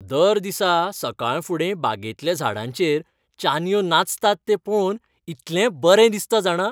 दर दिसा सकाळफुडें बागेंतल्या झाडांचेर चानयो नाचतात तें पळोवन इतलें बरें दिसता जाणा!